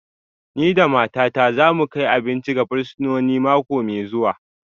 Ni da matata za mu kai abinci ga fursunoni mako mai zuwa